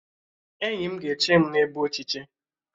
Enyi m ga-eche m n'ebe ochiche